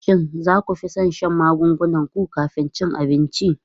Shin za ku fi son shan magungunan ku kafin cin abinci?